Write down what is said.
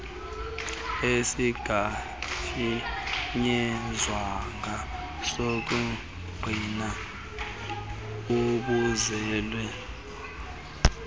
esingafinyezwanga sokungqina ubuzali